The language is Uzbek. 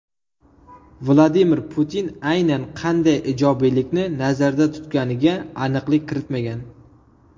Vladimir Putin aynan qanday ijobiylikni nazarda tutganiga aniqlik kiritmagan.